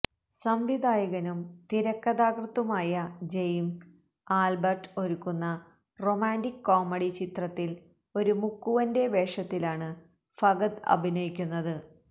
സംവിധായകനും തിരക്കഥാകൃത്തുമായ James Albert ഒരുക്കുന്ന റൊമാന്റിക് കോമഡി ചിത്രത്തില് ഒരു മുക്കുവന്റെ വേഷത്തിലാണ് ഫഹദ് അഭിനയിക്കുന്നത്